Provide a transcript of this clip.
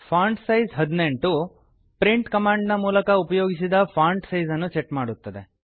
font size 18 print ಕಮಾಂಡಿನ ಮೂಲಕ ಉಪಯೋಗಿಸಿದ ಫಾಂಟ್ ಸೈಜನ್ನು ಸೆಟ್ ಮಾಡುತ್ತದೆ